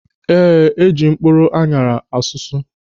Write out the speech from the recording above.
Ee, eji mkpụrụ aṅara ọsụsụ.